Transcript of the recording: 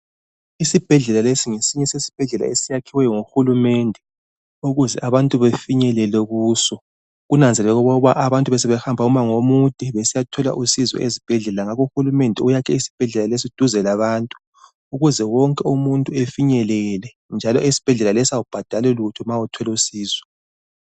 Isibhedlelalesi ngesinye sezibhedlela esiyakhwe nguhulumende ukuze abantu bafinyelele kuso. Kunanzeleleke ukuthi abantu besebehamba umango omude besiyathola usizo ezibhedlela ngakho uhulumende uyakhe isibhedlela lesi duze labantu ukuze wonke umuntu efinyelele njalo esibhedlela leso kawubhadalilutho ma uthola usizo